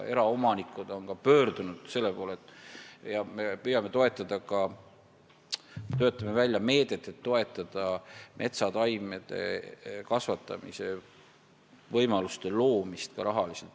Eraomanikud on selle murega meie poole pöördunud ja me töötame välja meedet, et toetada metsataimede kasvatamise võimaluste loomist ka rahaliselt.